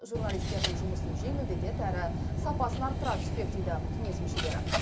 журналистердің жұмысын жеңілдетеді әрі сапасын арттыра түспек дейді кеңес мүшелері